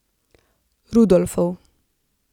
Rudolfov.